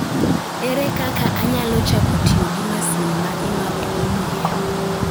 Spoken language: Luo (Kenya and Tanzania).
Ere kaka anyalo chako tiyo gi masin ma imadhogo muya?